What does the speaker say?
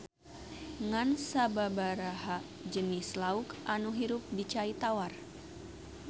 Ngan sababaraha jenis lauk anu hirup di cai tawar